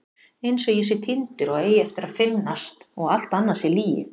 Einsog ég sé týndur og eigi eftir að finnast og allt annað sé lygi.